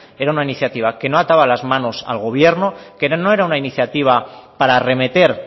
era una iniciativa que no ataba las manos al gobierno que no era una iniciativa para arremeter